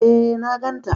Eh na gan ta